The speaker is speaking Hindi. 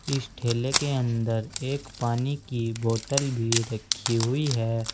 इस ठेले के अंदर एक पानी की बोतल भी रखी हुई है।